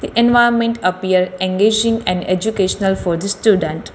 The environment appears engaging and educational for the student.